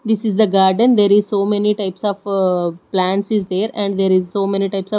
this is the garden there is so many types of plants is there and there is so many types of--